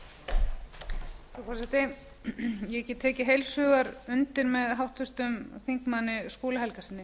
frú forseti ég get tekið heils hugar undir með háttvirtum þingmanni skúla helgasyni